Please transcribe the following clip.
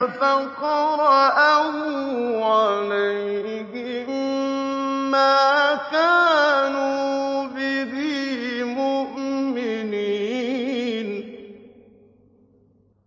فَقَرَأَهُ عَلَيْهِم مَّا كَانُوا بِهِ مُؤْمِنِينَ